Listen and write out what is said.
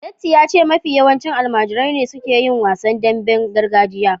Datti ya ce mafi yawanci almajirai ne suke yin wasan damben gargajiya